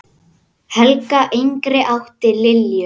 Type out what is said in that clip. Helga yngri átti Lilju.